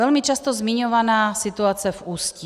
Velmi často zmiňovaná situace v Ústí.